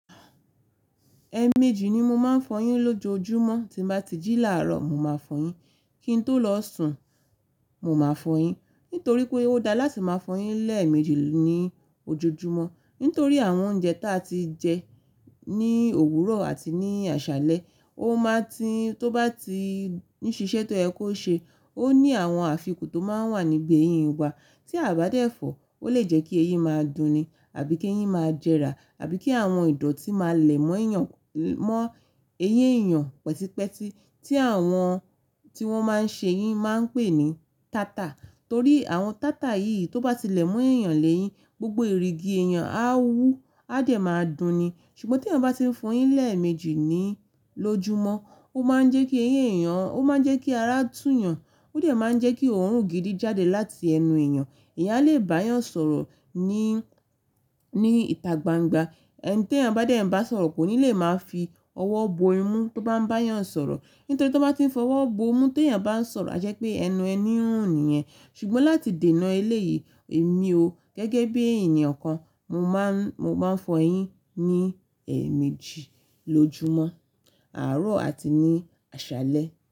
Ẹẹ̀ méjì ni mo máa ń fọyín lójoojúmọ́, tí bá ti jí làárọ̀, mo máa fọyín, kí n tó lọ sùn, mo máa fọyín. Nítorí pé ó dáa láti máa fọyín lẹ́ẹ̀ méjì ní ojoojúmọ́. Nítorí àwọn oúnjẹ tí a ti jẹ ní òwúrọ̀ àti ní àṣálẹ́, ó máa ti tó bá ti ní ṣiṣẹ́ tó ẹ kó ṣe, ó ní àwọn àfikún tó máa wà níbi eyín wa. Tí a ò bá dẹ̀ fọ̀, ó lè jẹ́ kí eyín máa dùn ni àbí kí eyín máa jẹrà àbí kí àwọn ìdọ̀tí máa lẹ̀ mọ́ eýin èèyàn pẹtipẹti tí àwọn tí wọ́n máa ń ṣe eyín máa ń pè ní tátà. Torí àwọn tátà yìí tó bá tilẹ̀ mú ẹ̀yàn léyín, gbogbo ìrígí ẹ̀yàn á wú, á dẹ̀ máa dùn ni. Ṣùgbọ́n tí èèyàn bá ti ń fọyín lẹ́ẹ̀ méjì ní lojúmọ́, ó máa ń jẹ́ kí ara tú yan, ó dẹ̀ máa ń jẹ́ kí òórùn gidi jáde láti ẹnu ẹ̀yàn. Èèyàn lè bá èèyàn sọ̀rọ̀ ní, ní ìtà gbangba. Ẹni tí èèyàn bá dẹ̀ ń bá sọ̀rọ̀ kò ní lè máa fi ọwọ́ bo imú tó bá ń bá èèyàn sọ̀rọ̀. Nítorí tó bá ti fọwọ́ bo imú tó èèyàn bá ń sọ̀rọ̀, a jẹ́ pé ẹnu ẹni ń rùn niyẹ̀n. Ṣùgbọ́n láti dènà eléyìí, èmi o gẹ́gẹ́ bí ènìyàn kan, mo máa ń, mo máa ń fọyín ní ẹ̀ méjì lójoojúmọ́, àárọ̀ àti ní àṣálẹ́